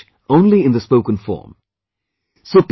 It finds usage only in the spoken form